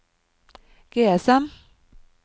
GSM